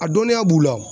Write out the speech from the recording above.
A dɔnniya b'u la